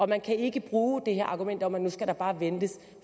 man kan ikke bruge det her argument om at nu skal der bare ventes